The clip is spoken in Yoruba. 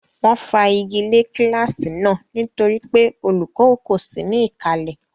Wọ́n fa igi lé kíláàsì náà nítorí pé olùkọ́ kò sí ní ìkàlẹ̀.